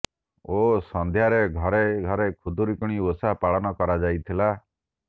ଓ ସନ୍ଧ୍ୟାରେ ଘରେ ଘରେ ଖୁଦୁରୁକୁଣୀ ଓଷା ପାଳନ କରାଯାଇଥିଲା